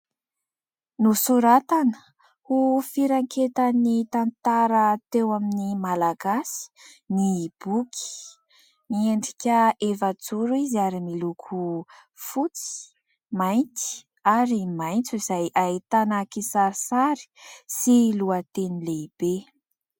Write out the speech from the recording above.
Nosoratana ho firanketan' ny tantara teo amin'ny Malagasy ny boky. Miendrika efajoro izy ary miloko fotsy, mainty ary maitso, izay ahitana kisarisary sy lohateny lehibe.